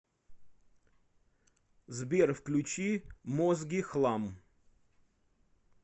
сбер включи мозги хлам